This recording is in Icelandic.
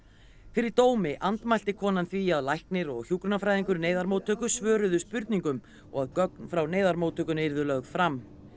fyrir dómi andmælti konan því að læknir og hjúkrunarfræðingur neyðarmóttöku svöruðu spurningum og að gögn frá neyðarmóttökunni yrðu lögð fram